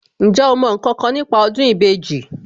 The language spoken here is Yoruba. Ǹjẹ́ o mọ ǹkankan nípa ọdún ìbejì